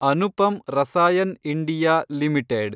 Anupam Rasayan India limited